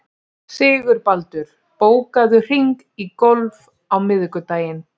Sigurbaldur, bókaðu hring í golf á miðvikudaginn.